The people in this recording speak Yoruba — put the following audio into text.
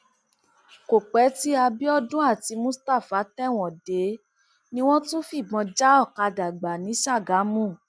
kò pẹ tí abiodun àti mustapha tẹwọn dé ni wọn tún fìbọn já ọkadà gbà ní sàgámù